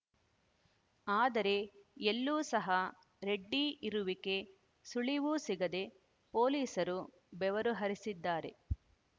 ಆದರೆ ಎಲ್ಲೂ ಸಹ ರೆಡ್ಡಿ ಇರುವಿಕೆ ಸುಳಿವು ಸಿಗದೆ ಪೊಲೀಸರು ಬೆವರು ಹರಿಸಿದ್ದಾರೆ